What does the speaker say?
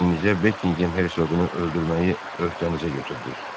İnicə Bekingem hersoqunu öldürməyi öhdənizə götürdünüz.